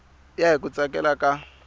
ya hi ku tsakela ka